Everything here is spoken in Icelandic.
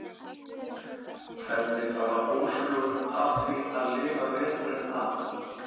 Hvernig fara húsflugur að því að lifa veturinn af?